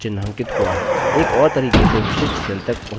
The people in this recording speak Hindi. आप देख सकते हैं कि विशिष्ट cell चिन्हांकित हुआ है